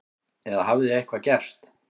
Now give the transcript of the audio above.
Eða hafði eitthvað gerst?